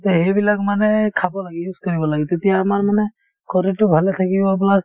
তে এইবিলাক মানে খাব লাগে use কৰিব লাগে তেতিয়া আমাৰ মানে শৰীৰতো ভালে থাকিব plus